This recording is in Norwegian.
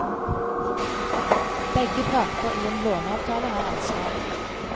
Begge parter i en låneavtale har ansvar.